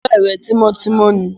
Ṣé ọ̀rẹ́ rẹ tímọ́tímọ́ ni?